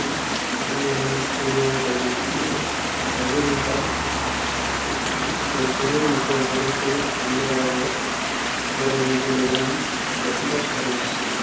உள்வரும் சூரியக் கதிர் வீச்சு கதிர்வீசால் ஒரு பொருளிலிருந்து மற்றொரு பொருளுக்கு எந்த ஊடக உதவியுமின்றி நிகழும் வெப்பப்பரிமாற்றம்.